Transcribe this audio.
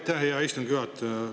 Aitäh, hea istungi juhataja!